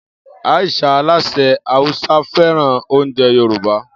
Aisha, alásè Hausa, fẹ́ràn oúnjẹ Yorùbá.